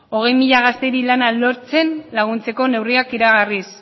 hogei mila gazteri lana lortzen laguntzeko neurriak iragarriz